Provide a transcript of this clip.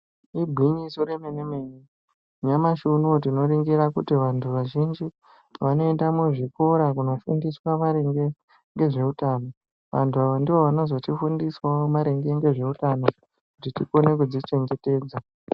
Igwinyiso remene-mene nyamashi unouyu tinoningira kuti vantu vazhinji vanoenda muzvikora kunofundiswa maringe ngezveutano. Vantu ava ndivo vanozotifundisavo maringe ngezveutano kuti tikone kudzichengetedza.